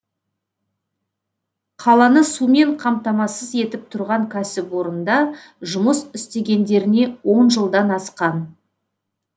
қаланы сумен қамтамасыз етіп тұрған кәсіпорында жұмыс істегендеріне он жылдан асқан